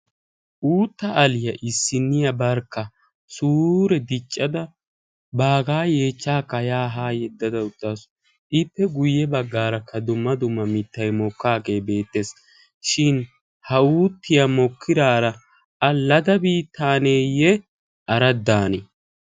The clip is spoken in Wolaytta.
uutta aliyaa issinniyaa barkka suure diccada baagaa yeechchaakka yaa haa yeddada uttaasu ippe guyye baggaara ka dumma dumma mittay mokkaagee beettees shin ha uuttiyaa mokkiraara a lada biitaaneeyye araddane